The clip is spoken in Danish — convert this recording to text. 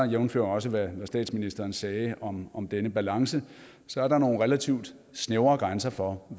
jævnfør også hvad statsministeren sagde om om denne balance så er der nogle relativt snævre grænser for